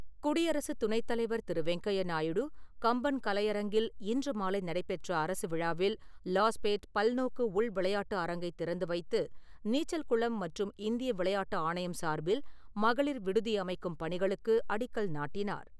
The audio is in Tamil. குடியரசு துணைத் தலைவர் திரு வெங்கையா நாயுடு கம்பன் கலையரங்கில் இன்று மாலை நடைபெற்ற அரசு விழாவில் லாஸ்பேட் பல்நோக்கு உள்விளையாட்டு அரங்கைத் திறந்துவைத்து, நீச்சல் குளம் மற்றும் இந்திய விளையாட்டு ஆணையம் சார்பில் மகளிர் விடுதி அமைக்கும் பணிகளுக்கு அடிக்கல் நாட்டினார்.